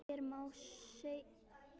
Hér má sjá nokkur þeirra.